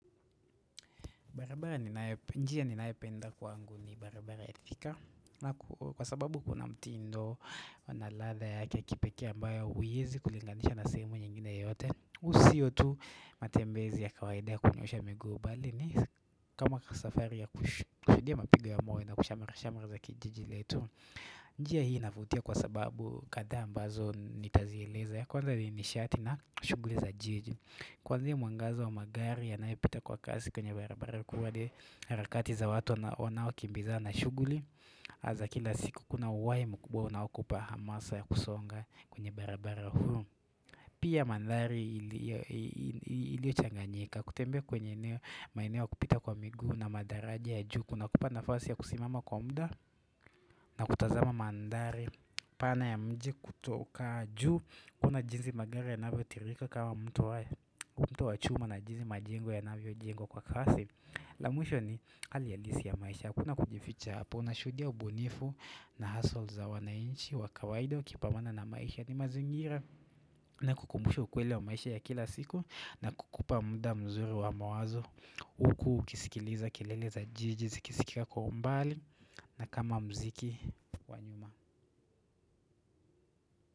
Barabara ninayop njia ninayopenda kwangu ni barabara ya Thika Kwa sababu kuna mti ndo wanaladha yake kipekee ambayo huyezi kulinganisha nasehemu nyingine yote Hu sio tu matembezi ya kawaida ya kunyoosha miguu bali ni kama safari ya kush kushudia mapigo ya moyo na kushamirashamirza kijijiletu njia hii navutia kwa sababu kadhaa ambazo nitazieleza ya kwanza ni nishati na shuguliza jiji Kwanzia mwangaza wa magari yanayo pita kwa kasi kwenye barabara kuu wale hararakati za watu wana wanao kimbiza na shuguli Aza kila siku kuna uwai mkubwa unao kupaha masa ya kusonga kwenye barabara huu Pia mandhari ilio ilio changanyika kutembea kwenye eneo maeneo kupita kwa miguu na madaraja ya juu Kuna kupanafasi ya kusimama kwa umda na kutazama mandhari pana ya mji kutoka juu kuona jinsi magari yanavyo tirika kama mto wa mto wa chuma na jinsi majengo ya navyojengwa kwa kasi la mwisho ni hali halisi ya maisha hakuna kujificha hapo, una shudia ubunifu na hasol za wana inchi wakawaida ukipambana na maisha ni mazingira na kukumbusha ukweli wa maisha ya kila siku na kukupa mda mzuri wa mawazo Huku ukisikiliza, keleleza jiji, zikisikika kwa umbali na kama mziki wanyuma.